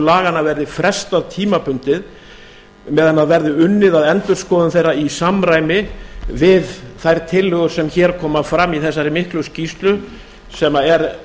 laganna verði frestað tímabundið meðan verði unnið að endurskoðun þeirra í samræmi við þær tillögur sem hér koma fram í þessari miklu skýrslu sem er